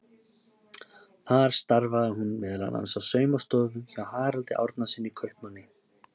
Þar starfaði hún meðal annars á saumastofu hjá Haraldi Árnasyni kaupmanni.